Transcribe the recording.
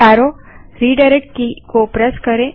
enter press करें